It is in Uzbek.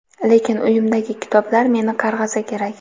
lekin uyimdagi kitoblar meni qarg‘asa kerak..